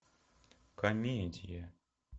комедия